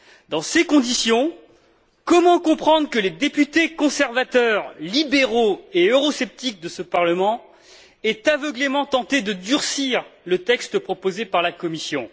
Dans ces conditions, comment comprendre que les députés conservateurs, libéraux et eurosceptiques de ce Parlement aient aveuglément tenté de durcir le texte proposé par la Commission?